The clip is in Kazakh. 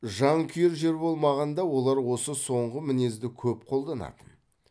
жан күйер жер болмағанда олар осы соңғы мінезді көп қолданатын